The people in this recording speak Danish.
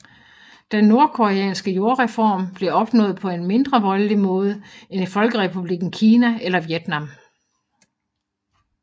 Den nordkoreanske jordreform blev opnået på en mindre voldelig måde end i folkerepublikken Kina eller Vietnam